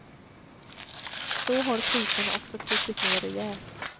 Så har priserna också krupit ner rejält.